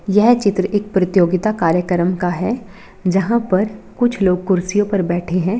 यह चित्र एक प्रीतियोगिता कार्यकर्म का है जहां पर कुछ लोग कुर्सीयो पर बैठे हैं।